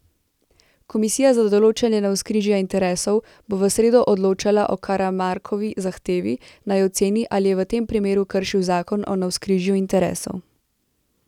Komisija za določanje navzkrižja interesov bo v sredo odločala o Karamarkovi zahtevi, naj oceni, ali je v tem primeru kršil zakon o navzkrižju interesov.